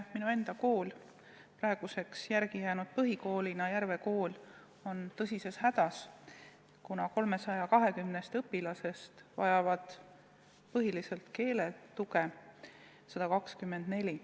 Minu enda kool ehk Järve Kool, mis praeguseks töötab vaid põhikoolina, on tõsises hädas, kuna 320 õpilasest vajab keeletuge 124.